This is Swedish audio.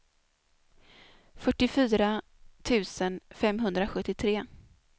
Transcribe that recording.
fyrtiofyra tusen femhundrasjuttiotre